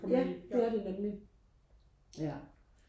ja det er det nemlig ja